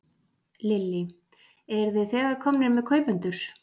Lillý: Eruð þið þegar komnir með kaupendur?